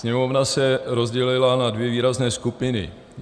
Sněmovna se rozdělila na dvě výrazné skupiny.